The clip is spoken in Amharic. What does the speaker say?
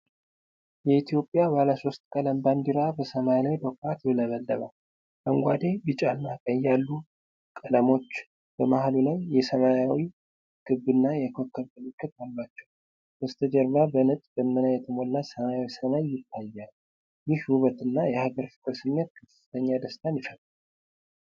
የኢትዮጵያ ባለሶስት ቀለም ባንዲራ በሰማይ ላይ በኩራት ይውለበለባል። አረንጓዴ፣ ቢጫና ቀይ ያሉት ቀለሞች በመሃሉ ላይ የሰማያዊ ክብና የኮከብ ምልክት አሏቸው። በስተጀርባ በነጭ ደመና የተሞላ ሰማያዊ ሰማይ ይታያል። ይህ ውበትና የሀገር ፍቅር ስሜት ከፍተኛ ደስታን ይፈጥራል።